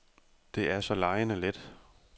Det er så legende let.